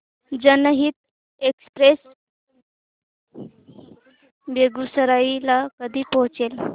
जनहित एक्सप्रेस बेगूसराई ला कधी पोहचते